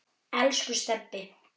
Elsku Stebbi.